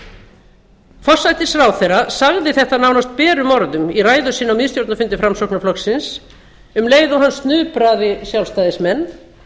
evrópska forsætisráðherra sagði þetta nánast berum orðum í ræðu sinni á miðstjórnarfundi framsóknarflokksins um leið og hann snupraði sjálfstæðismenn